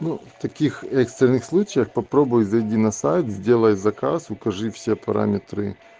ну таких экстренных случаях попробуй зайти на сайт сделай заказ укажи все параметры